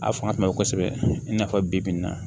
A fanga kun ka bon kosɛbɛ i n'a fɔ bi bi in na